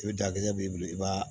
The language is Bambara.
I bɛ dakisɛ b'i bolo i b'a